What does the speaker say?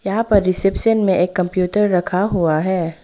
यहां पर रिसेप्शन में एक कंप्यूटर रखा हुआ है।